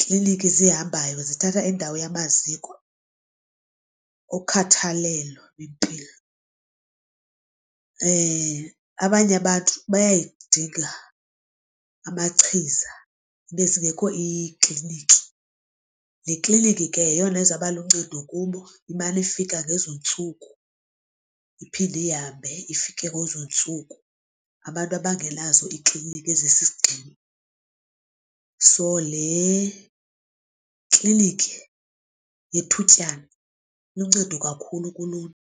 klinikhi zihambayo zithatha indawo yamaziko okhathalelo lwempilo. abanye abantu bayayidinga amachiza zibe zingekho iikliniki. Le klinikhi ke yeyona izawuba luncedo kubo imane ifika ngezo ntsuku iphinde ihambe ifike kwezo ntsuku abantu abangenazo iikliniki ezisisigxina, so le klinikhi yethutyana iluncedo kakhulu kuluntu.